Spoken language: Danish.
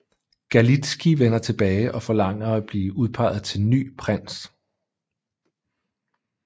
Galitzkij vender tilbage og forlanger at blive udpeget til ny prins